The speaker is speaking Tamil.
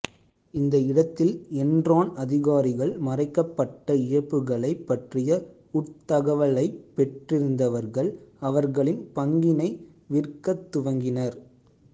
இந்த இடத்தில் என்ரான் அதிகாரிகள் மறைக்கப்பட்ட இழப்புக்களைப் பற்றிய உட் தகவலைப் பெற்றிருந்தவர்கள் அவர்களின் பங்கினை விற்கத் துவங்கினர்